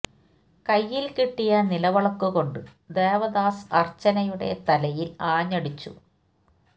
കൈയിൽ കിട്ടിയ നിലവിളക്ക് കൊണ്ട് ദേവദാസ് അർച്ചനയുടെ തലയിൽ ആഞ്ഞ് അടിച്ചു